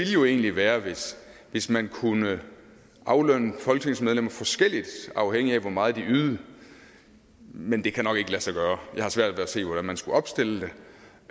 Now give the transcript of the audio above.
jo egentlig være hvis hvis man kunne aflønne folketingsmedlemmer forskelligt afhængigt af hvor meget de ydede men det kan nok ikke lade sig gøre jeg har svært ved at se hvordan man skulle opstille det